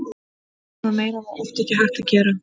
Annað og meira var oft ekki hægt að gera.